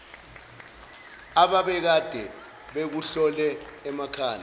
abekade bekuhlohle emakhanda